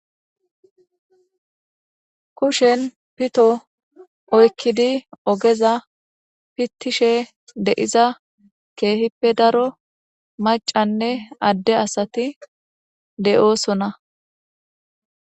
Kushen pito oykkidi ogeza pittishe de'iza keehippe daro macanne adde asati de'oosona.